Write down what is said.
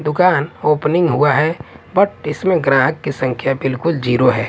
दुकान ओपनिंग हुआ है बट इसमें ग्राहक की संख्या बिलकुल जीरो है।